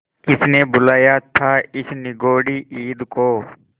किसने बुलाया था इस निगौड़ी ईद को